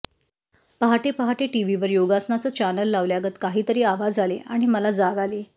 पहाटे पहाटे टीव्हीवर योगासनाचं च्यानल लावल्यागत काहीतरी आवाज आले आणि मला जाग आली